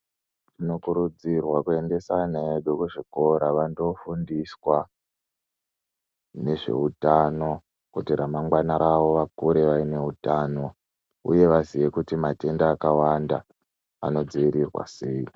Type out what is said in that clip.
Tinokurudzirwa kuendesa ana edu kuzvikora vandofundiswa, nezveutano kuti ramangwana rawo vakure vaine utano uye vazive kuti matenda akawanda anodzivirirwa sei.